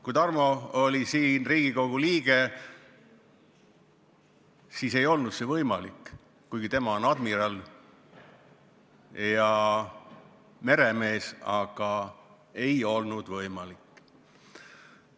Kui Tarmo oli Riigikogu liige, siis ei olnud see võimalik, kuigi tema on admiral ja meremees – aga ei olnud võimalik.